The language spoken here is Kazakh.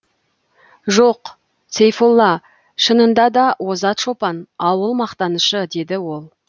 жоқ сейфолла шынында да озат шопан ауыл мақтанышы деді ол